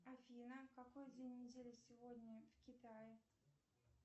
афина какой день недели сегодня в китае